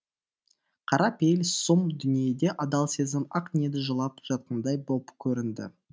қара пейіл сұм дүниеде адал сезім ақ ниет жылап жатқандай боп көрінді